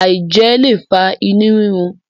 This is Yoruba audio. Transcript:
aijẹ le fa inu rirun